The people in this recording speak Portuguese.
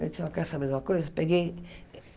Eu disse, ó quer saber de uma coisa. Peguei